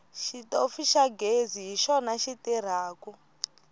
xitofu xa ghezi hi xona xi tirhako